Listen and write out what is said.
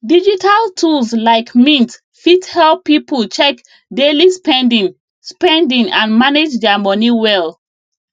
digital tools like mint fit help people check daily spending spending and manage their money well